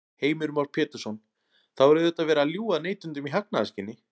Heimir Már Pétursson: Þá er auðvitað verið að ljúga að neytendum í hagnaðarskyni?